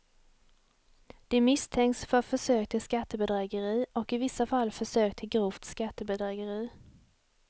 De misstänks för försök till skattebedrägeri och i vissa fall försök till grovt skattebedrägeri.